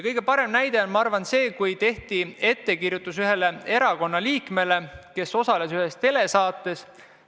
Kõige parem näide on minu arvates see, kui tehti ettekirjutus ühe erakonna liikmele, kes osales ühes telesaates.